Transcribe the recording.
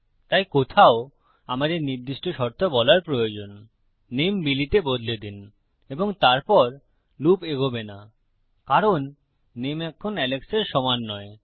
তাই কোথাও আমাদের নির্দিষ্ট শর্ত বলার প্রয়োজন নেম বিলি তে বদলে দিন এবং তারপর লুপ এগোবে না কারণ নেম এখন এলেক্সের সমান নয়